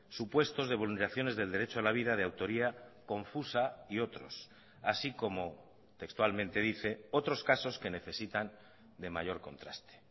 supuestos de vulneraciones del derecho a la vida de autoría confusa y otros así como textualmente dice otros casos que necesitan de mayor contraste